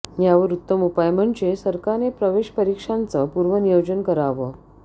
यावर उत्तम उपाय म्हणजे सरकारने प्रवेश परीक्षांचं पूर्वनियोजन करावं